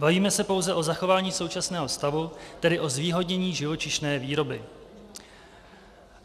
Bavíme se pouze o zachování současného stavu, tedy o zvýhodnění živočišné výroby.